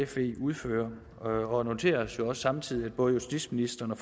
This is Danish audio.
fe udfører og noterer os jo også samtidig at både justitsministeren og